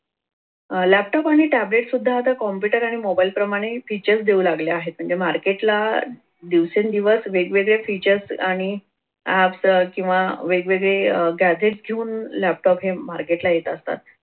अह laptop आणि tablet सुद्धा आता computer आणि मोबाइल प्रमाणे features देऊ लागले आहेत म्हणजे market ला दिवसेंदिवस वेगवेगळे features आणि apps किंवा वेगवेगळे gadget घेऊन laptop हे market ला येत असतात.